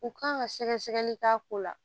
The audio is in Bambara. U kan ka sɛgɛ sɛgɛli k'a ko la